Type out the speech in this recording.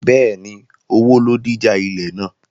Bẹ́ẹ̀ni, owó ló díjà ilẹ̀ náà